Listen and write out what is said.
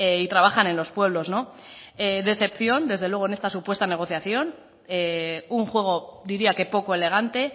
y trabajan en los pueblos decepción desde luego en esta supuesta negociación un juego diría que poco elegante